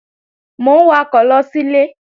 Mò ń wakọ̀ lọ sílé